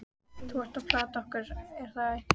Þú ert að plata okkur, er það ekki?